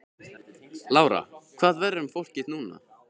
Lára: Hvað verður um fólkið núna?